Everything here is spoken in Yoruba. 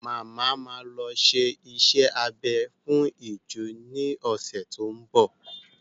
Màmá ma lọ ṣe iṣẹ́ abẹ fún ìju ní ọ̀sẹ̀ tó ń bọ̀.